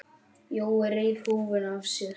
Jói reif húfuna af sér.